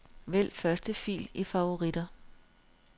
Vælg første fil i favoritter.